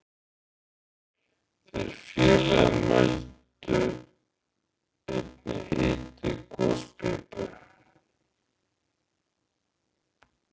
Þeir félagar mældu einnig hita í gospípu